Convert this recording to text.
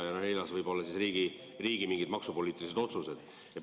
Neljandaks võivad olla riigi mingid maksupoliitilised otsused.